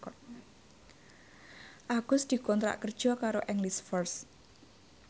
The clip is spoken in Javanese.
Agus dikontrak kerja karo English First